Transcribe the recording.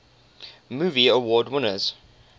movie award winners